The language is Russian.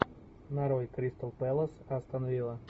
нарой кристал пэлас астон вилла